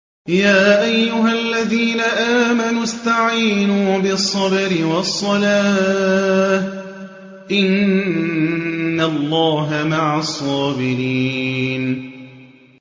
يَا أَيُّهَا الَّذِينَ آمَنُوا اسْتَعِينُوا بِالصَّبْرِ وَالصَّلَاةِ ۚ إِنَّ اللَّهَ مَعَ الصَّابِرِينَ